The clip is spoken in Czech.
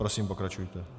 Prosím, pokračujte.